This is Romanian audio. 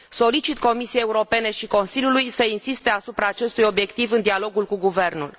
Solicit Comisiei Europene și Consiliului să insiste asupra acestui obiectiv în dialogul cu guvernul.